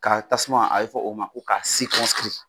Ka tasuma a bɛ fɔ o ma ko ka .